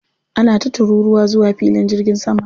Ana ta tururuwa zuwa filin jirgin sama.